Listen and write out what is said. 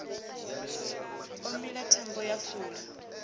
o mila thambo ya fula